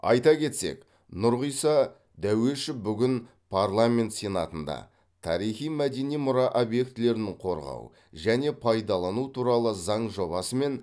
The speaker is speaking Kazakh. айта кетсек нұрғиса дәуешов бүгін парламент сенатында тарихи мәдени мұра объектілерін қорғау және пайдалану туралы заң жобасы мен